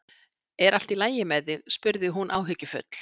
Er allt í lagi með þig? spurði hún áhyggjufull.